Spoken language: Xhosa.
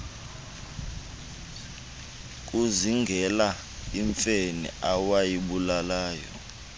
kuzingela imfene awayibulala